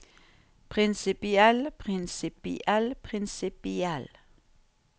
prinsipiell prinsipiell prinsipiell